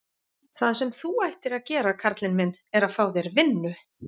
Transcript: Það sem þú ættir að gera karlinn minn, er að fá þér vinnu.